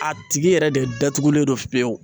A tigi yɛrɛ de datugulen don pewu.